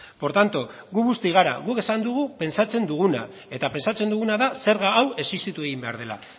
por tanto gu busti gara guk esan dugu pentsatzen duguna eta pentsatzen duguna da zerga hau existitu egin behar dela